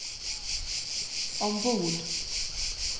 ombord